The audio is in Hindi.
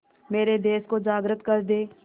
मेरे देश को जागृत कर दें